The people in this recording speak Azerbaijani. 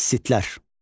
Kassitlər.